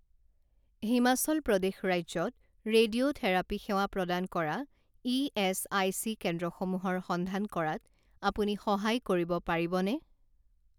হিমাচল প্ৰদেশ ৰাজ্যত ৰেডিঅ'থেৰাপী সেৱা প্ৰদান কৰা ইএচআইচি কেন্দ্ৰসমূহৰ সন্ধান কৰাত আপুনি সহায় কৰিব পাৰিবনে?